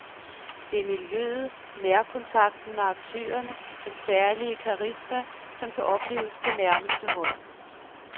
Det er miljøet, nærkontakten med aktørerne, den særlige karisma, som kan opleves på nærmeste hold.